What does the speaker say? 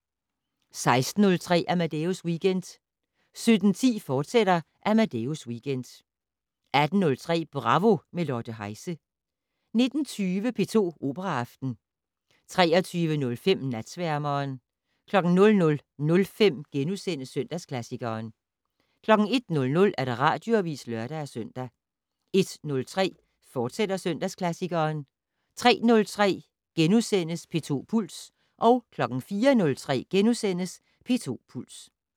16:03: Amadeus Weekend 17:10: Amadeus Weekend, fortsat 18:03: Bravo - med Lotte Heise 19:20: P2 Operaaften 23:05: Natsværmeren 00:05: Søndagsklassikeren * 01:00: Radioavis (lør-søn) 01:03: Søndagsklassikeren, fortsat 03:03: P2 Puls * 04:03: P2 Puls *